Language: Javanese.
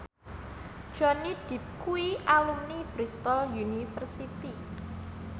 Johnny Depp kuwi alumni Bristol university